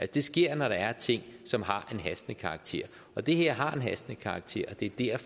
det sker når der er ting som har en hastende karakter og det her har en hastende karakter og det det er